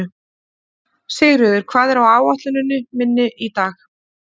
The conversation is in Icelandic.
Sigríður, hvað er á áætluninni minni í dag?